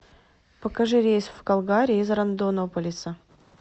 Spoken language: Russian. покажи рейс в калгари из рондонополиса